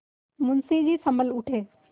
मुंशी जी सँभल उठे